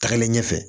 Tagalen ɲɛfɛ